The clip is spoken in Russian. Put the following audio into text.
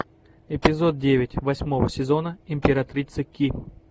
эпизод девять восьмого сезона императрица ки